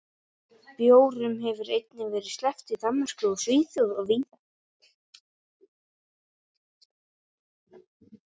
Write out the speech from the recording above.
bjórum hefur einnig verið sleppt í danmörku og svíþjóð og víðar